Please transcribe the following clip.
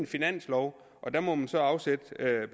finansloven og der må man så afsætte